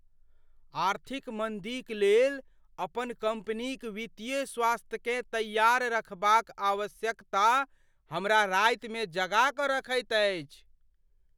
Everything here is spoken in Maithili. आर्थिक मन्दीक लेल अपन कम्पनीक वित्तीय स्वास्थ्यकेँ तैयार रखबाक आवश्यकता हमरा रातिमे जगा कऽ रखैत अछि।